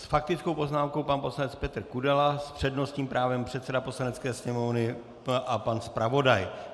S faktickou poznámkou pan poslanec Petr Kudela, s přednostním právem předseda Poslanecké sněmovny a pan zpravodaj.